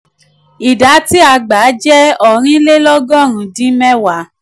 ìdá tí a gbà jẹ́ ---ọ̀rìn lé lọ́gọ́rù-ún dín mẹwàá---.